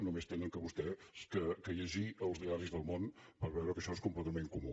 només han de llegir vostès els diaris del món per veure que això és completament comú